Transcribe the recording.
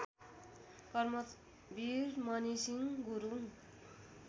Karmveer Mani Singh Gurung